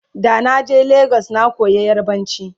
da na je legas na koya yarbanci